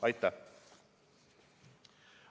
Aitäh!